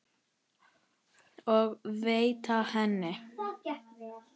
og veita henni.